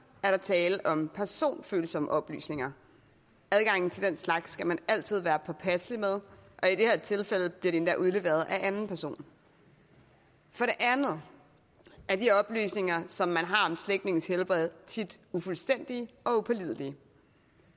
er der tale om personfølsomme oplysninger adgangen til den slags skal man altid være påpasselig med og i det her tilfælde bliver det endda udleveret af anden person for det andet er de oplysninger som man har om slægtninges helbred tit ufuldstændige og upålidelige